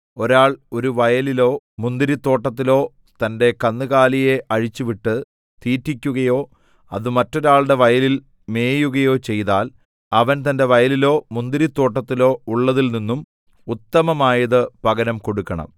ഒരാൾ ഒരു വയലിലോ മുന്തിരിത്തോട്ടത്തിലോ തന്റെ കന്നുകാലിയെ അഴിച്ചുവിട്ട് തീറ്റിക്കുകയോ അത് മറ്റൊരാളുടെ വയലിൽ മേയുകയോ ചെയ്താൽ അവൻ തന്റെ വയലിലോ മുന്തിരിത്തോട്ടത്തിലോ ഉള്ളതിൽ നിന്നും ഉത്തമമായത് പകരം കൊടുക്കണം